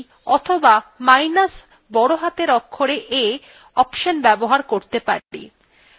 তাহলে আমরা minus e অথবা minus বড় হাতের অক্ষরে a অপশন ব্যবহার করতে পারি